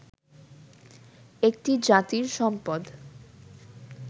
একটি জাতির সম্পদ